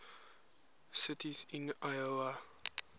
cities in iowa